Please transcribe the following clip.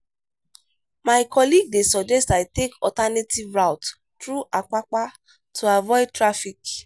my colleague dey suggest i take alternative route through apapa to avoid traffic.